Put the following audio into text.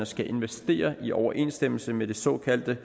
skal investere i overensstemmelse med det såkaldte